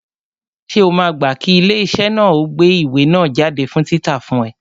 Ṣé o máa gbá kí ilé iṣẹ́ náà ó gbé ìwé náà jáde fún títa fún ẹ?